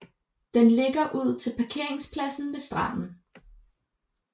Den ligger ud til parkeringspladsen ved stranden